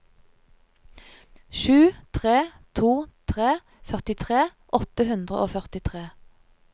sju tre to tre førtitre åtte hundre og førtitre